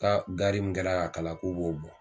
Ka gaari min kɛra ka kalan k'u b'o bɔ